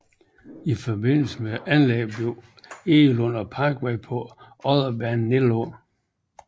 I forbindelse med anlæggelsen blev Egelund og Parkvej på Odderbanen nedlagt